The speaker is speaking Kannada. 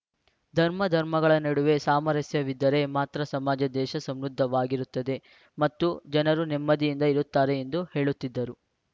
ಧರ್ಮ ಧರ್ಮಗಳ ನಡುವೆ ಸಾಮರಸ್ಯವಿದ್ದರೆ ಮಾತ್ರ ಸಮಾಜ ದೇಶ ಸಮೃದ್ಧವಾಗಿರುತ್ತದೆ ಮತ್ತು ಜನರು ನೆಮ್ಮದಿಯಿಂದ ಇರುತ್ತಾರೆ ಎಂದು ಹೇಳುತ್ತಿದ್ದರು